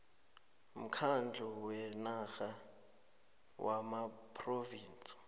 mkhandlu wenarha wamaphrovinsi